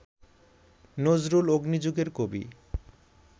নজরুল অগ্নিযুগের কবি